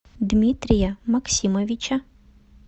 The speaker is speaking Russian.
дмитрия максимовича